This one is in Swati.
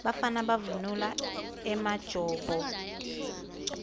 bafana bavunula emajobo